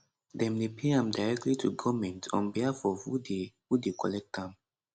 dem dey pay am directly to goment on behalf of who dey who dey collect am